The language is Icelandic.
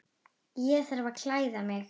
Ég þarf að klæða mig.